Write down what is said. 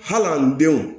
Hali an denw